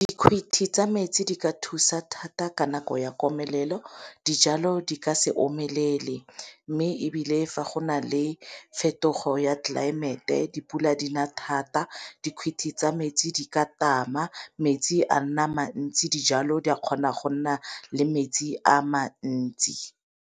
Dikhuti tsa metsi di ka thusa thata ka nako ya komelelo dijalo di ka se omelele, mme ebile fa go na le fetogo ya tlelaemete dipula di na thata dikhuthi tsa metsi di ka tama metsi a nna mantsi dijalo di a kgona go nna le metsi a mantsi.